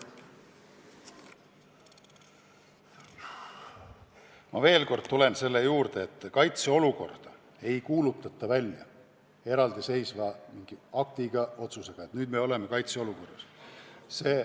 Ma veel kord tulen selle juurde, et kaitseolukorda ei kuulutata välja mingi eraldiseisva aktiga, otsusega, et nüüd me oleme kaitseolukorras.